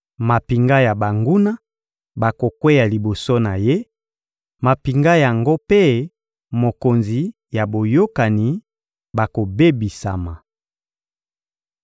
Mampinga ya banguna bakokweya liboso na ye, mampinga yango mpe mokonzi ya boyokani bakobebisama.